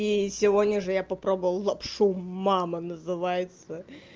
и сегодня же я попробовал лапшу мама называется